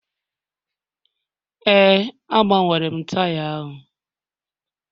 Ee, agbanwere m taya ahụ